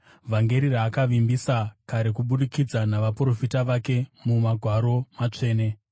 vhangeri raakavimbisa kare kubudikidza navaprofita vake muMagwaro Matsvene